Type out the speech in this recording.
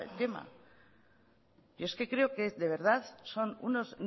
tema yo es que creo que de verdad son unos